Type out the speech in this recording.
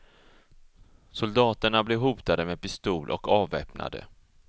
Soldaterna blev hotade med pistol och avväpnade.